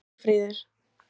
Málmfríður